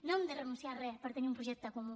no hem de renunciar a res per tenir un projecte comú